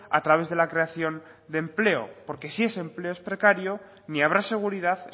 a través de la creación de empleo porque si ese empleo es precario ni habrá seguridad